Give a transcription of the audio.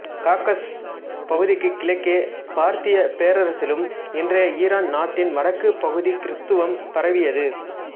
Caucasus பகுதிக்குக் கிழக்கே பார்த்தியப் பேரரசிலும் இன்றைய ஈரான் நாட்டின் வடக்குப் பகுதி கிறித்தவம் பரவியது